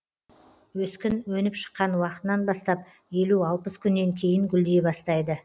өскін өніп шыққан уақытынан бастап елу алпыс күннен кейін гүлдей бастайды